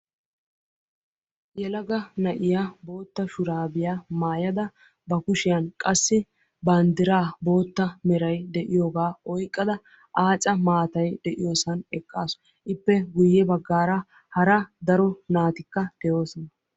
Yelaga na'iya bootta shurabiya maayada bakushiyaan qassi banddira bootta meray de'iyooga oyqqada aaca maatay de'iyoossan eqqasu. Ippe guyye baggaara hara daro naatikka doosona.